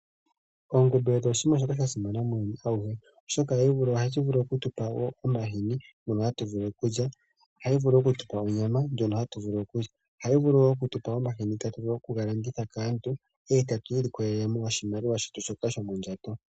Ongombe odho oshinima shoka shasimana muuyuni awuhe oshoka ohashi vulu okutupa omahini ngono hatu vulu okulya . Ohayi vulu okutupa onyama ndjono hatuvulu okulya . Ohayi vulu woo okutupa omahini tatuvulu okugalanditha kaantu e tatu ilikolelo oshimaliwa shetu shoka shomondjato.